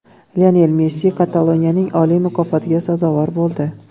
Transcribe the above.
Lionel Messi Kataloniyaning oliy mukofotiga sazovor bo‘ldi.